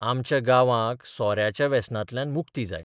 आमच्या गांवांक सोऱ्याच्या वेसनांतल्यान मुक्ती जाय.